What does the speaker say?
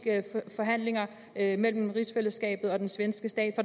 forhandlinger mellem rigsfællesskabet og den svenske stat